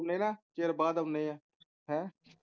ਚਿਰ ਬਾਅਦ ਆਉਂਦੇ ਹਾਂ